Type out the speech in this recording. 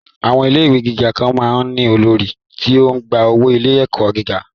Àwọn ilé ìwé gíga kan máa ń ní olórí tí ó ń gba owó ilé-ẹ̀kọ́ gíga